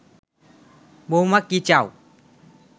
বৌমা কি চাও